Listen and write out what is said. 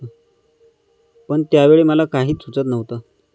पण त्यावेळी मला काहीच सुचत नव्हतं!